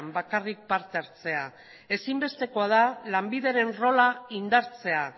bian bakarrik parte hartzea ezinbestekoa da lanbideren rola indartzea